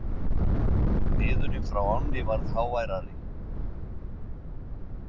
Niðurinn frá ánni varð háværari.